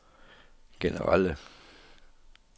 generelle